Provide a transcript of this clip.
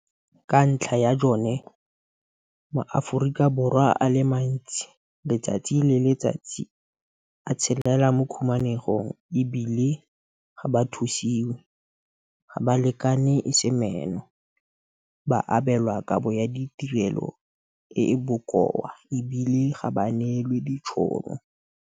Ka ntlha ya jone, maAforika Borwa a le mantsi letsatsi le letsatsi a tshelela mo khumanegong e bile ga ba thusiwe, ga ba lekane e se meno, ba abelwa kabo ya ditirelo e e bokoa e bile ga ba neelwe ditšhono.